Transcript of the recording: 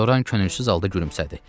Loran könülsüz halda gülümsədi.